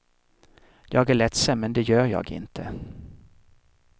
Jag är ledsen men det gör jag inte.